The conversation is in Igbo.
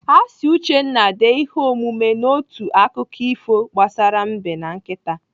Asị Uchenna dee ihe omume n'otu akụkọ ifo gbasara Mbe na nkịta.